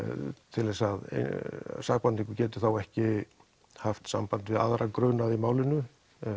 til að sakborningur geti ekki haft samband við aðra grunaða í málinu